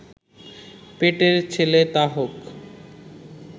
পেটের ছেলে, তা হোক